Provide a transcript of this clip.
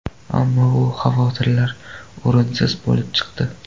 Ammo bu xavotirlar o‘rinsiz bo‘lib chiqdi.